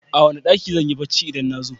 A wane ɗaki zanyi bacci idan nazo?